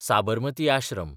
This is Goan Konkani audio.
साबरमती आश्रम